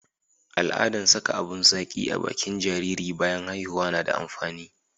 al'adan saka abun zaki a bakin jariri bayan haihuwa na da amfani